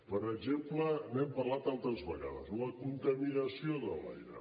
per exemple n’hem parlat altres vegades la contaminació de l’aire